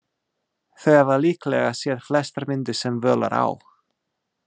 Þau hafa líklega séð flestar myndir sem völ er á.